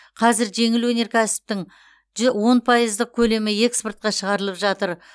қазір жеңіл өнеркәсіптің ж он пайыздық көлемі экспортқа шығарылып жатыр